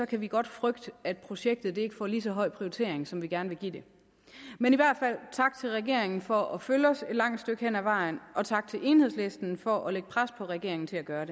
kan vi godt frygte at projektet ikke får lige så høj prioritering som vi gerne vil give det men i hvert fald tak regeringen for at følge os et langt stykke hen ad vejen og tak til enhedslisten for at lægge pres på regeringen til at gøre